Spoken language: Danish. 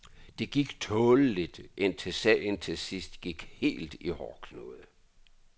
Det gik tåleligt indtil sagen til sidst gik helt i hårdknude.